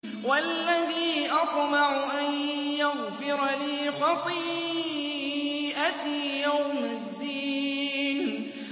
وَالَّذِي أَطْمَعُ أَن يَغْفِرَ لِي خَطِيئَتِي يَوْمَ الدِّينِ